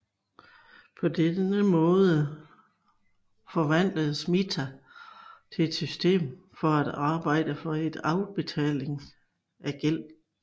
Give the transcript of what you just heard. På denne måde forvandledes mita til et system for at arbejde for afbetaling af gæld